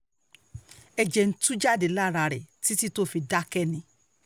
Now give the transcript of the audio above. ẹ̀jẹ̀ ń tú jáde lára rẹ̀ títí tó fi dákẹ́ ni